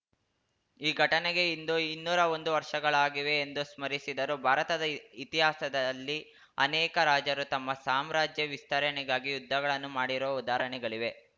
ಈ ಘಟನೆಗೆ ಇಂದು ಇನ್ನೂರಾ ಒಂದು ವರ್ಷಗಳಾಗಿವೆ ಎಂದು ಸ್ಮರಿಸಿದರು ಭಾರತದ ಇತಿಹಾಸದಲ್ಲಿ ಅನೇಕ ರಾಜರು ತಮ್ಮ ಸಾಮ್ರಾಜ್ಯ ವಿಸ್ತರಣೆಗಾಗಿ ಯುದ್ಧಗಳನ್ನು ಮಾಡಿರುವ ಉದಾಹರಣೆಗಳಿವೆ